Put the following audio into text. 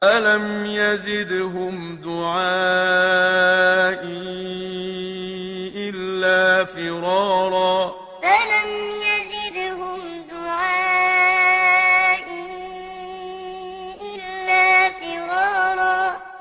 فَلَمْ يَزِدْهُمْ دُعَائِي إِلَّا فِرَارًا فَلَمْ يَزِدْهُمْ دُعَائِي إِلَّا فِرَارًا